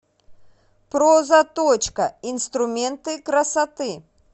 прозаточка инструменты красоты